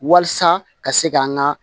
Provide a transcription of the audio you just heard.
Walasa ka se k'an ka